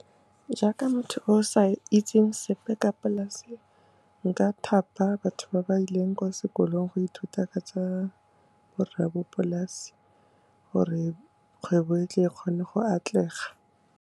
Jaaka motho o sa itseng sepe ka polasi, nka thapa batho ba ba ileng kwa sekolong go ithuta ka tsa borraabopolasi, gore kgwebo e tle e kgone go atlega.